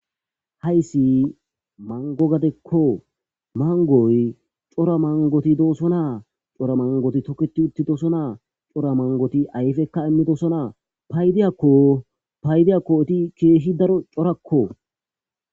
hayssi mango gadekko. mangoy cora mangoti doosonaa. cora mangoti toketi uttidosonaa. cora mangoti ayfekka immidosonaa paydiyakko paydiyakko eti keehi daro corakko.